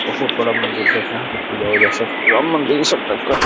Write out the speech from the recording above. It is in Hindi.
बहोत बडा मंदिर है। यहाँ पे पूजा वूजा सब राम मंदिर इस टाइप का-